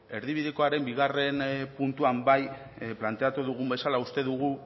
erdibidekoaren bigarren puntuan bai planteatu dugun bezala uste dugu